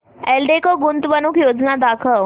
एल्डेको गुंतवणूक योजना दाखव